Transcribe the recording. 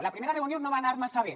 la primera reunió no va anar massa bé